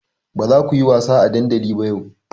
Ba za ku yi wasa a dandali ba yau!